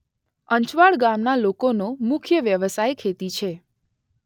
અંચવાડ ગામના લોકોનો મુખ્ય વ્યવસાય ખેતી છે.